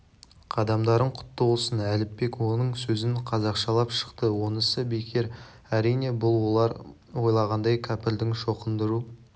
қадамдарың құтты болсын әліпбек оның сөзін қазақшалап шықты онысы бекер әрине бұл олар ойлағандай кәпірдің шоқындыру